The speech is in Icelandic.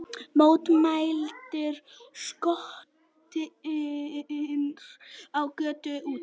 Mótmælendur skotnir á götum úti